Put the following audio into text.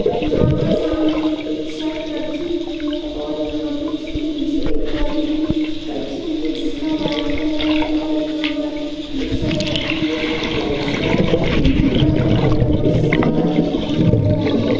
यहां पर सामने एक शर्ट रखी हुई है और यहा पर उसके नीचे एक पोलोथिन रखी हुई है जिसका व्हाइट कलर है और यहां पर जो शर्ट रखी हुई है उसका ब्लैक सा ब्लू कलर और येलो सा कलर दिखाई दे रहा है।